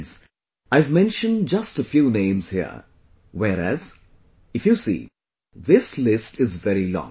Friends, I have mentioned just a few names here, whereas, if you see, this list is very long